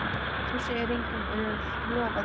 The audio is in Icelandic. Þú segir engum. viltu lofa því?